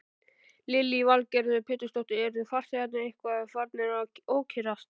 Lillý Valgerður Pétursdóttir: Eru farþegarnir eitthvað farnir að ókyrrast?